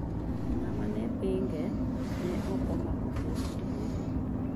Ng''ama ne pinge ne ok omako kes e doho.